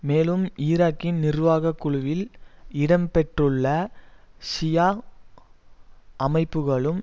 மேலும் ஈராக்கின் நிர்வாக குழுவில் இடம் பெற்றுள்ள ஷியா அமைப்புக்களும்